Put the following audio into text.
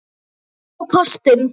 fór á kostum.